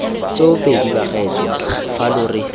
tsoopedi bagaetsho fa lo re